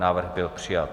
Návrh byl přijat.